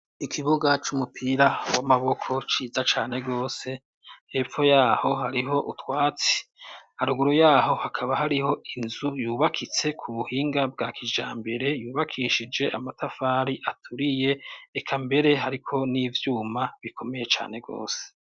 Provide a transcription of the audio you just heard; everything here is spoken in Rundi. Ikibuga c'umupira w'amaboko ciza cane gose, hepfo yaho hariho utwatsi, haruguru yaho hakaba hariho inzu yubakitse ku buhinga bwa kijambere, yubakishije amatafari aturiye, eka mbere hariko n'ivyuma bikomeye cane gose.